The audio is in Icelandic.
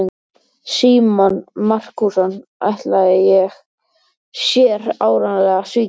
Símon Markússon ætlaði sér áreiðanlega að svíkja hann.